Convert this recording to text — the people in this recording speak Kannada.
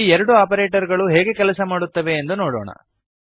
ಈ ಎರಡು ಆಪರೇಟರ್ ಗಳು ಹೇಗೆ ಕೆಲಸ ಮಾಡುತ್ತವೆ ಎಂದು ನೋಡೋಣ